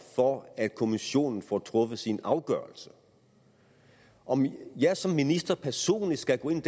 for at kommissionen får truffet sin afgørelse om jeg som minister personligt skal gå ind i